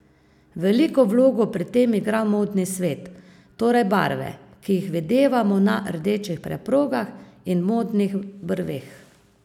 Veliko vlogo pri tem igra modni svet, torej barve, ki jih videvamo na rdečih preprogah in modnih brveh.